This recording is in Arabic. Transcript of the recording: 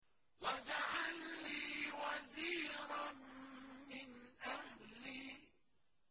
وَاجْعَل لِّي وَزِيرًا مِّنْ أَهْلِي